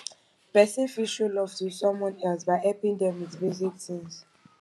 person fit show love to someone else by helping them with basic things